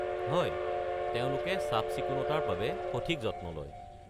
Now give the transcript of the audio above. হয়, তেওঁলোকে চাফ-চিকুণতাৰ বাবে সঠিক যত্ন লয়।